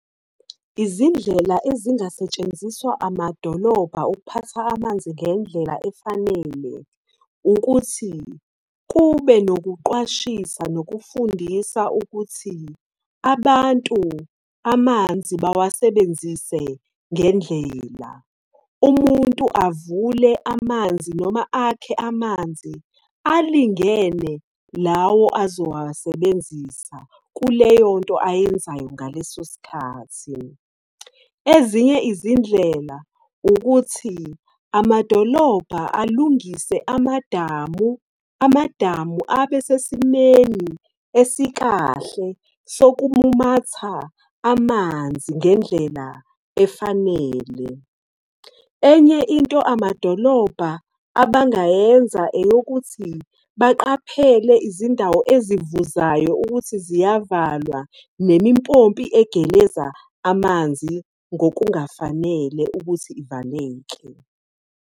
Izindlela ezingasetshenziswa amadolobha okuphatha amanzi ngendlela efanele ukuthi kube nokuqwashisa nokufundisa ukuthi abantu amanzi bawasebenzise ngendlela. Umuntu avule amanzi noma akhe amanzi alingene lawo azowasebenzisa kuleyonto ayenzayo ngalesosikhathi. Ezinye izindlela, ukuthi amadolobha alungise amadamu. Amadamu abesesimeni esikahle sokumumatha amanzi ngendlela efanele. Enye into amadolobha abangayenza, eyokuthi baqaphele izindawo ezivuzayo ukuthi ziyavalwa, nimimpompi egeleza amanzi ngokungafanele ukuthi ivaleke.